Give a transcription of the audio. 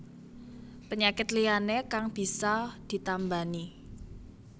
Penyakit liyané kang bisa ditambani